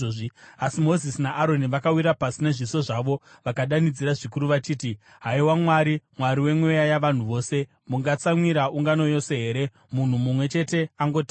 Asi Mozisi naAroni vakawira pasi nezviso zvavo vakadanidzira zvikuru vachiti, “Haiwa Mwari, Mwari wemweya yavanhu vose, mungatsamwira ungano yose here munhu mumwe chete angotadza?”